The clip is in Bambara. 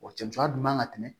O cɛncɛn dun man ka tɛmɛ